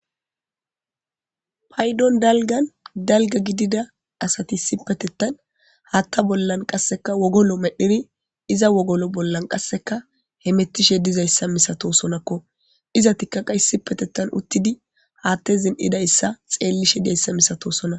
paydon dalgan dalga gidida asati isipetettan haatta bollan qasseka wogolo medhiri iza wogolo bollan qasseka hemettishe dizayssa misatosonakko izatikka qa isipetettan uttidi haatte zin'idayssa xeellishe di'ayssa misatosona